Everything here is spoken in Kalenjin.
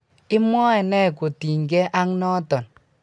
imwoe nee kotinykei ak noto?